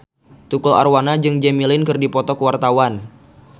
Tukul Arwana jeung Jimmy Lin keur dipoto ku wartawan